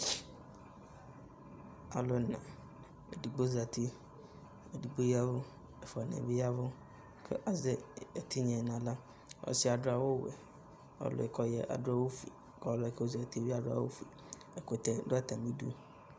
Alʋ ɛna, edigbo zati, edigbo ya ɛvʋ, ɛfʋanɩ yɛ bɩ ya ɛvʋ kʋ azɛ ɛtɩnya yɛ nʋ aɣla, ɔsɩ yɛ adʋ awʋ wɛ, ɔlʋ yɛ kʋ ɔya adʋ awʋ fue, kʋ ɔlʋ yɛ kʋ ɔzati yɛ bɩ adʋ awʋ fue, ɛkʋtɛ dʋ atamɩ idu